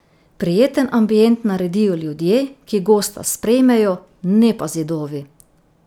Prijeten ambient naredijo ljudje, ki gosta sprejmejo, ne pa zidovi.